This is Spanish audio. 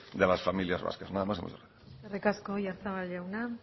de las familias vascas nada más muchas gracias eskerrik asko oyarzabal jauna